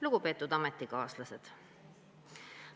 Lugupeetud ametikaaslased!